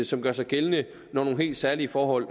som gør sig gældende når nogle helt særlige forhold